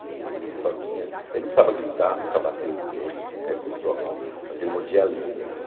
E ele só tinha... Ele não precisava gritar, nunca bateu em ninguém, nunca encostou a mão, mas ele mordia a língua assim.